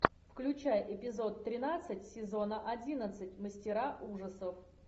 включай эпизод тринадцать сезона одиннадцать мастера ужасов